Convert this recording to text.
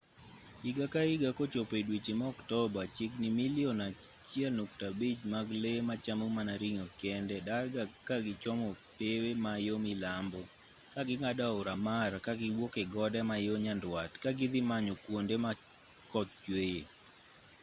higa ka higa kochopo e dweche ma oktoba chiegni milion 1.5 mag lee machamo mana ring'o kende darga ka gichomo pewe ma yo milambo ka ging'ado aora mara kagiwuok e gode ma yo nyandwat ka gidhi manyo kwonde ma koth chweye